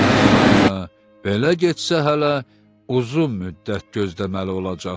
Hə, belə getsə hələ uzun müddət gözləməli olacaqsan.